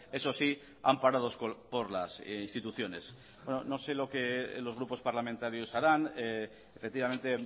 eso sí amparados por las instituciones no sé lo que los grupos parlamentarios harán efectivamente